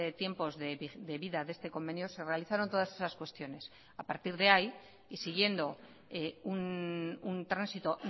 tiempos de vida de este convenio se realizaron todas esas cuestiones a partir de ahí y siguiendo un tránsito